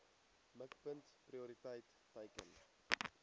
mikpunt prioriteit teiken